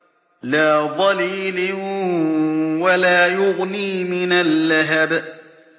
لَّا ظَلِيلٍ وَلَا يُغْنِي مِنَ اللَّهَبِ